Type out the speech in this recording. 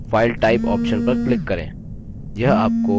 अब dialog box में file type option पर click करें